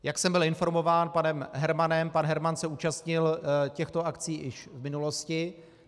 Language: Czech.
Jak jsem byl informován panem Hermanem, pan Herman se účastnil těchto akcí už v minulosti.